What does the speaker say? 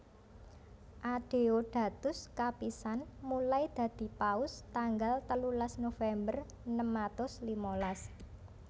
Adeodatus kapisan mulai dadi Paus tanggal telulas November enem atus limalas